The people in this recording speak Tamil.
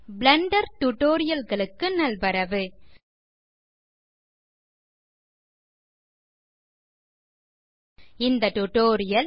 பிளெண்டர் டியூட்டோரியல் களுக்கு நல்வரவு இந்த டியூட்டோரியல்